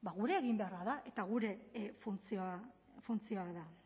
gure eginbeharra da eta gure funtzioa da